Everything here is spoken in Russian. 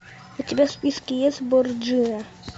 у тебя в списке есть борджиа